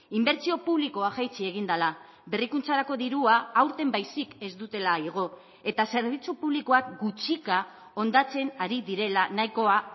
inbertsio publikoa jaitsi egin dela berrikuntzarako dirua aurten baizik ez dutela igo eta zerbitzu publikoak gutxika hondatzen ari direla nahikoa